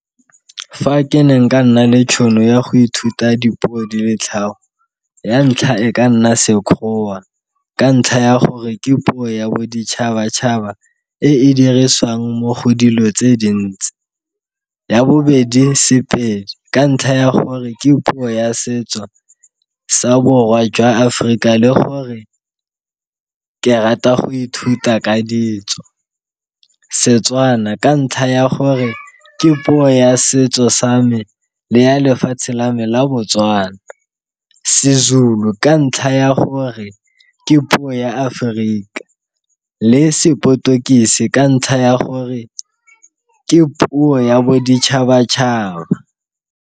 Fa ke ne nka nna le tšhono ya go ithuta dipuo di le tlhano ya ntlha e ka nna Sekgowa ka ntlha ya gore ke puo ya boditšhabatšhaba e e dirisiwang mo go dilo tse dintsi. Ya bobedi sePedi ka ntlha ya gore ke puo ya setso sa Borwa jwa Aforika le gore ke rata go ithuta ka ditso. Setswana ka ntlha ya gore ke puo ya setso sa me le ya lefatshe la me la Botswana, seZulu ka ntlha ya gore ke puo ya Aforika le sePortuguese ka ntlha ya gore ke puo ya boditšhabatšhaba.